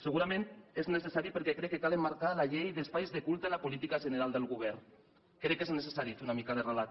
segurament és necessari perquè crec que cal emmarcar la llei d’espais de culte en la política general del govern crec que és necessari fer una mica de relat